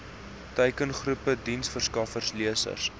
teikengroep diensverskaffers lesers